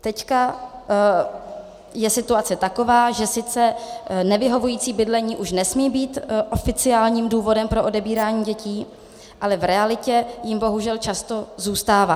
Teď je situace taková, že sice nevyhovující bydlení už nesmí být oficiálním důvodem pro odebírání dětí, ale v realitě jím bohužel často zůstává.